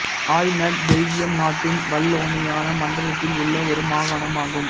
Hainaut Belgium நாட்டின் Wallonia மண்டலத்தில் உள்ள ஒரு மாகாணம் ஆகும்